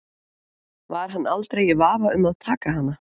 Var hann aldrei í vafa um að taka hana?